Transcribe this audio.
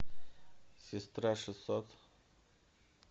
сестра шестьсот